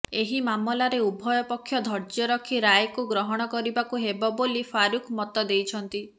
ଏହି ମାମଲାରେ ଉଭୟ ପକ୍ଷ ଧ୘ର୍ଯ୍ୟ ରଖି ରାୟକୁ ଗ୍ରହଣ କରିବାକୁ ହେବ ବୋଲି ଫାରୁକ୍ ମତ ଦେଇଛନ୍ତି